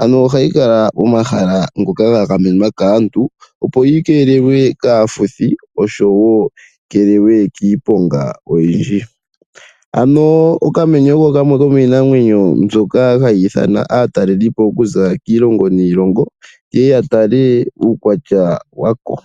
ano ohayi kala momahala ngoka ga gamenwa kaantu opo yikeelelwe kaafuthi osho wo yikeelelwe kiiponga oyindji. Okamenye oko kamwe komiinamwenyo mbyoka hayi ithana aatalelelipo okuza kiilongo niilongo ye ye ya tale uukwatya wako.